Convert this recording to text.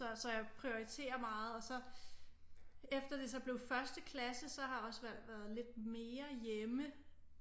Så jeg prioriterer meget og så efter det så blev første klasse så har Osvald været lidt mere hjemme